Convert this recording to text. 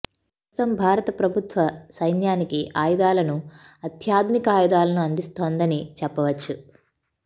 ప్రస్తుతం భారత ప్రభుత్వ సైన్యానికి ఆయుధాలను అత్యాధునికి ఆయుధాలను అందిస్తోందని చెప్పవచ్చు